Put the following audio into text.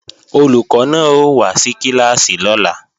Olùkọ́ náà ó wá sí kíláàsì lọ́la